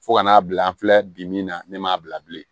Fo ka n'a bila an filɛ bi min na ne m'a bila bilen